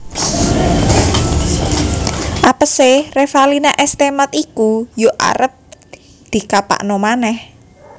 Apese Revalina S Temat iku yo arep dikapakno maneh